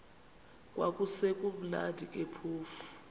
kwakusekumnandi ke phofu